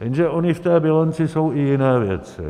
Jenže ony v té bilanci jsou i jiné věci.